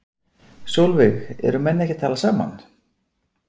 Sólveig: Eru menn ekki að tala saman?